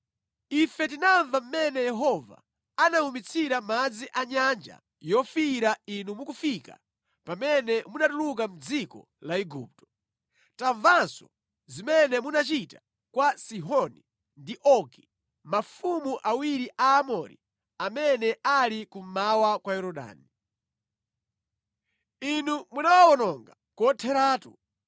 Ife tinamva mmene Yehova anawumitsira madzi a Nyanja Yofiira inu mukufika pamene munatuluka mʼdziko la Igupto. Tamvanso zimene munachita kwa Sihoni ndi Ogi, mafumu awiri a Aamori amene ali kummawa kwa Yorodani. Inu munawawononga kotheratu.